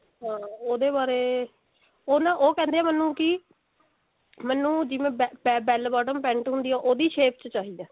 ਹਾਂ ਉਹਦੇ ਬਾਰੇ ਉਹ ਨਾ ਉਹ ਕਹਿੰਦੇ ਮੈਨੂੰ ਵੀ ਮੈਨੂੰ ਜਿਵੇਂ bell bottom pent ਹੁੰਦੀ ਹੈ ਉਹਦੀ shape ਚ ਚਾਹਿਦਾ